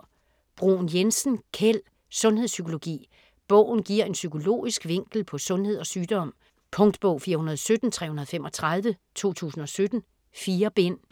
Bruun-Jensen, Kjeld: Sundhedspsykologi Bogen giver en psykologisk vinkel på sundhed og sygdom. Punktbog 417335 2017. 4 bind.